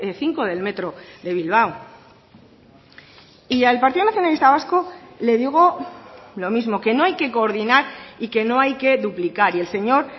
cinco del metro de bilbao y al partido nacionalista vasco le digo lo mismo que no hay que coordinar y que no hay que duplicar y el señor